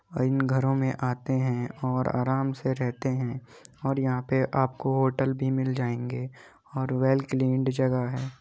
ओर इन घरों मे आते हैं और आराम से रहते हैं और यहाँ पे आपको होटल भी मिल जायेंगे और वेल क्लिंड जगह है।